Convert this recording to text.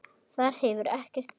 Þar hefur ekkert gerst.